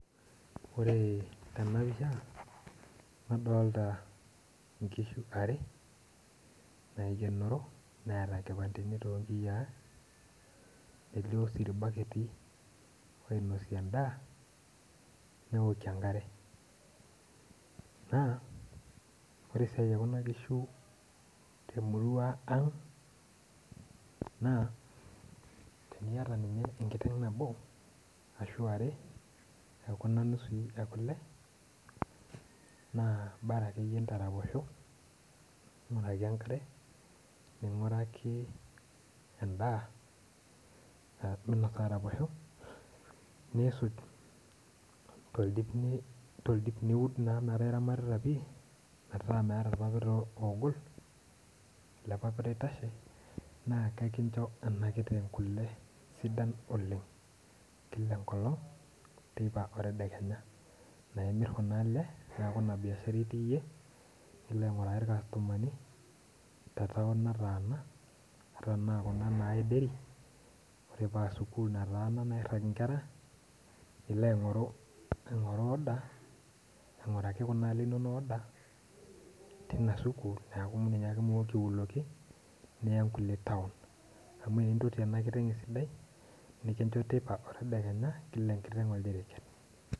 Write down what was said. Ore tenapisha, nadolta inkishu are, naikenoro neeta nkipandeni tonkiyiaa, elio si irbaketi oinosie endaa, neokie enkare. Naa, ore esiai ekuna kishu temurua ang, naa, teniata ninye enkiteng nabo, ashu are, ekuna nusui ekule, naa bara akeyie ndaraposho ayaki enkare, ning'uraki endaa nadung ake araposho, nisuj toldip niud naa meeta ramatita pi, metaa meeta irpapit ogol, ele papita oitashe, naa kekincho ena kiteng kule sidan oleng. Kila enkolong, teipa o tedekenya. Na imir kuna ale, neeku ina biashara itii yie, nilo aing'uraki irkastomani te taon nataana, ata anaa kuna nayai dairy, ore pa sukuul nataana nairrag inkera, nilo aing'oru order, aing'uraki kuna ale inonok order, tina sukuul, neeku ninye ake mooki aiuloki, niya nkulie taon. Amu aintoti ena kiteng esidai, nikincho teipa o tedekenya, kila enkiteng oldiriket.